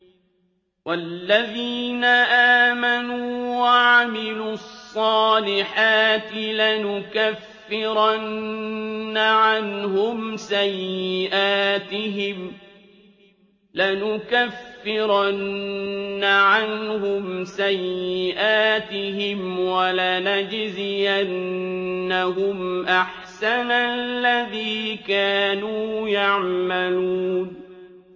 وَالَّذِينَ آمَنُوا وَعَمِلُوا الصَّالِحَاتِ لَنُكَفِّرَنَّ عَنْهُمْ سَيِّئَاتِهِمْ وَلَنَجْزِيَنَّهُمْ أَحْسَنَ الَّذِي كَانُوا يَعْمَلُونَ